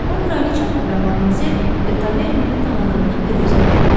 O kraliçanın və Madmazel De Tavernini tanıdığını büruzə vermədi.